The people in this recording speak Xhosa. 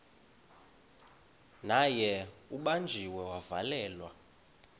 naye ubanjiwe wavalelwa